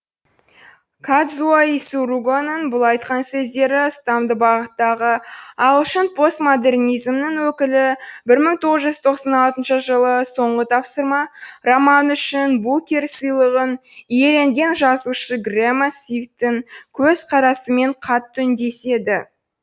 кадзуо исуругоның бұл айтқан сөздері ұстамды бағыттағы ағылшын постмодернизмінің өкілі бір мың тоғыз жүз тоқсан алтыншы жылы соңғы тапсырма романы үшін букер сыйлығын иеленген жазушы грэма свифттің көзқарасымен қатты үндеседі